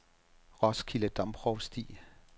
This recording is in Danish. Roskilde Domprovsti